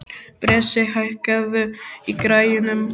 Bresi, hækkaðu í græjunum.